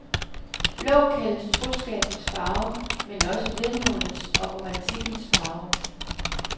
Blå kaldes troskabens farve, men også vemodets og romantikkens farve.